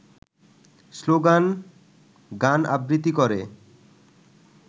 স্লোগান-গান-আবৃত্তি করে